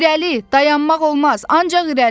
İrəli, dayanmaq olmaz, ancaq irəli!